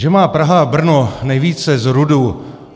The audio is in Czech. Že má Praha a Brno nejvíce z RUDu.